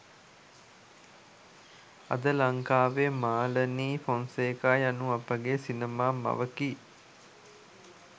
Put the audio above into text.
අද ලංකාවේ මාලනි ෆොන්සේකා යනු අපගේ සිනමා මවකි